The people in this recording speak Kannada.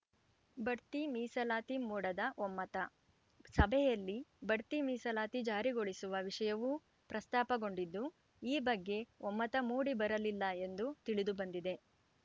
ಬಡ್ತಿ ಮೀಸಲಾತಿ ಮೂಡದ ಒಮ್ಮತ ಸಭೆಯಲ್ಲಿ ಬಡ್ತಿ ಮೀಸಲಾತಿ ಜಾರಿಗೊಳಿಸುವ ವಿಷಯವೂ ಪ್ರಸ್ತಾಪಗೊಂಡಿದ್ದು ಈ ಬಗ್ಗೆ ಒಮ್ಮತ ಮೂಡಿ ಬರಲಿಲ್ಲ ಎಂದು ತಿಳಿದು ಬಂದಿದೆ